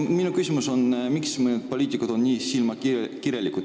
Minu küsimus on, miks mõned poliitikud on nii silmakirjalikud.